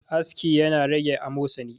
aski yana rage amosani